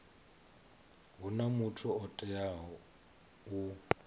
huna muthu o teaho u